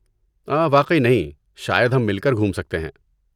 واقعی نہیں، شاید ہم مل کر گھوم سکتے ہیں۔